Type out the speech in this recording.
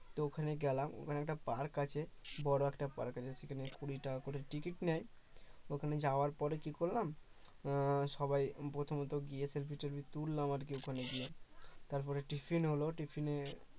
তো ওখানে গেলাম ওখানে একটা park আছে বড় একটা park আছে সেখানে কুড়ি টাকা করে টিকিট নেয় ওখানে যাওয়ার পরে কি করলাম আহ সবাই প্রথমে গিয়ে selfie -টেলফি তুললাম আর কি ওখানে গিয়ে তারপর tiffin হল tiffin এ